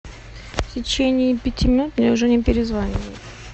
в течение пяти минут мне уже не перезванивают